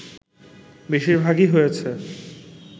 বেশিরভাগই হয়েছে